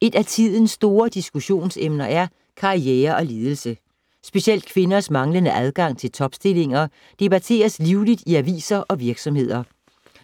Et af tidens store diskussionsemner er karriere og ledelse. Specielt kvinders manglende adgang til topstillinger debatteres livligt i aviser og virksomheder.